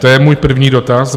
To je můj první dotaz.